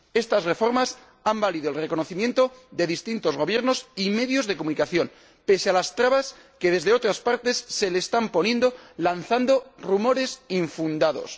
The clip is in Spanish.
Estas reformas le han valido el reconocimiento de distintos Gobiernos y medios de comunicación, pese a las trabas que desde otras partes se le están poniendo lanzando rumores infundados.